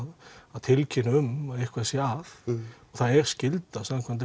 að tilkynna um að eitthvað sé að það er skylda samkvæmt